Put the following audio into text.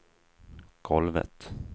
golvet